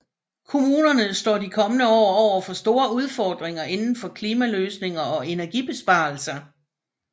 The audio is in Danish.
Kommunerne står de kommende år overfor store udfordringer indenfor klimaløsninger og energibesparelser